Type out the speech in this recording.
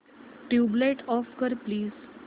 tubelight off कर please